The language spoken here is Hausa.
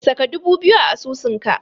Saka dubu biyu a asusunka.